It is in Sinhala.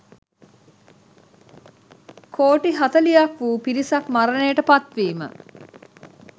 කෝටි හතළිහක් වූ පිරිසක් මරණයට පත්වීම.